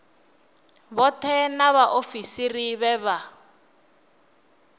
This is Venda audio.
vhoṱhe na vhaofisiri vhe vha